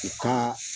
U ka